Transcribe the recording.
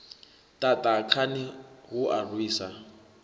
ṱaṱa khani hu a rwisa